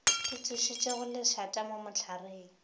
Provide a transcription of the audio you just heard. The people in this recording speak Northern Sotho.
di tsošitšego lešata mo mohlareng